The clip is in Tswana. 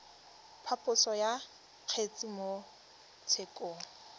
phaposo ya kgetse mo tshekong